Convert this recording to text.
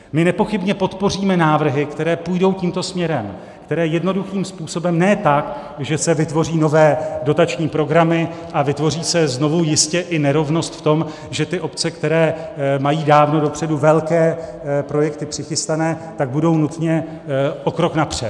My nepochybně podpoříme návrhy, které půjdou tímto směrem, které jednoduchým způsobem, ne tak, že se vytvoří nové dotační programy a vytvoří se znovu jistě i nerovnost v tom, že ty obce, které mají dávno dopředu velké projekty přichystané, tak budou nutně o krok napřed.